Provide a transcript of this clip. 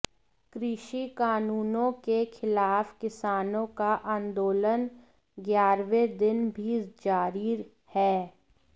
कृषि कानूनों के खिलाफ किसानों का आंदोलन ग्यारहवें दिन भी जारी है